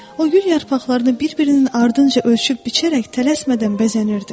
O gül yarpaqlarını bir-birinin ardınca ölçüb-biçərək tələsmədən bəzənirdi.